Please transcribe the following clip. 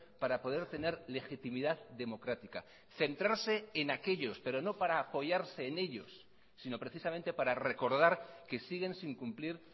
para poder tener legitimidad democrática centrarse en aquellos pero no para apoyarse en ellos sino precisamente para recordar que siguen sin cumplir